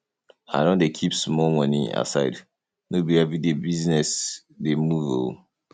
i don dey keep small moni aside no be everyday business dey move um